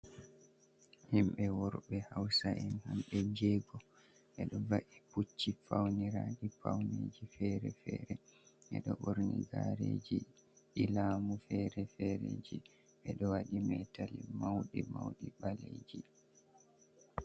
Himɓɓe worɓe hausa’en hamɓe jego ɓeɗo va’i pucci fauniraɗi pauniji fere-fere ɓeɗo ɓorni gareji lamu fere-fere ji ɓeɗo waɗi metali mauɗi mauɗi ɓaleji.